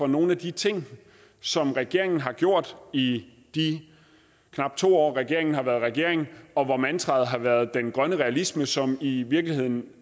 nogle af de ting som regeringen har gjort i de knap to år regeringen har været regering og hvor mantraet har været den grønne realisme som i virkeligheden